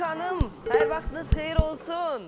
Günel xanım, hər vaxtınız xeyir olsun.